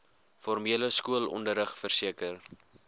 formele skoolonderrig verseker